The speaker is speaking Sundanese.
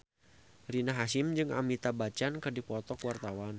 Rina Hasyim jeung Amitabh Bachchan keur dipoto ku wartawan